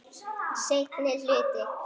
Seinni hluti.